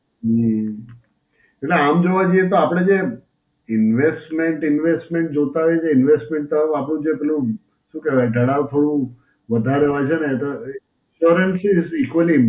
હમ્મ. એટલે આમ જોવા જઈએ તો આપડે જે investment investment જોતાં હોય છે, investment તો આપડે જે પેલું શું કહેવાય? દલાલ through વધારે હોય છે ને એ તો For incis equally